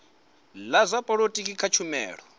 la zwa polotiki kha tshumelo